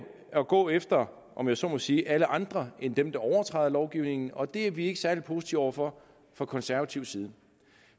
at gå efter om jeg så må sige alle andre end dem der overtræder lovgivningen og det er vi ikke særlig positive over for fra konservativ side